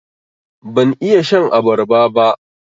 Ban iya shan abarba ba.